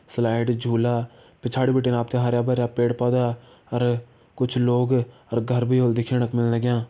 Slide झूला पिछाड़ी बिटिन आपतैं हरा-भार्यां पेड़-पौधा और कुछ लोग और घर भि ह्वला दिखेणी कु मिन लग्यां।